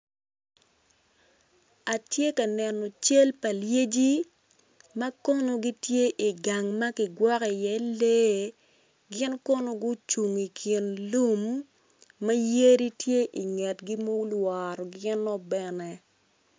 Atye ka neno cal pa lyeci ma kono gitye i gang ma kigwoko iye lee gin kono guvung i kin lum ma yadi tye i kingi ma olworo gino bene.